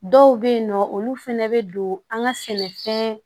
Dɔw bɛ yen nɔ olu fana bɛ don an ka sɛnɛfɛn